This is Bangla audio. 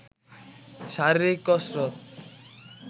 শারীরিক কসরত